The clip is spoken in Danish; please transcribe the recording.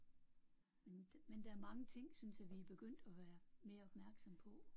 Men men der er mange ting synes jeg vi er begyndt at være mere opmærksomme på